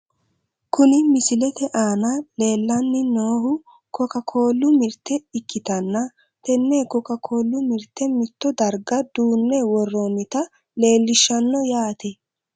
Kuni misilete aana leellanni noohu koka koollu mirte ukkitanna , tenne koka koollu mirte mitto darga duunne worroonnita leelishshanno yaate.